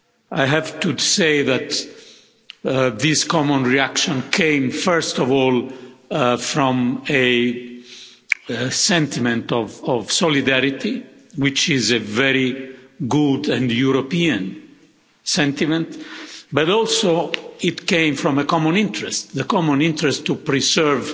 I have to say that this common reaction came first of all from a sentiment of solidarity, which is a very good and European sentiment, but also from a common interest the common interest to preserve